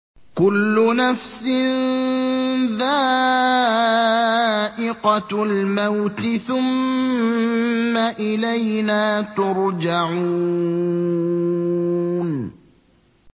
كُلُّ نَفْسٍ ذَائِقَةُ الْمَوْتِ ۖ ثُمَّ إِلَيْنَا تُرْجَعُونَ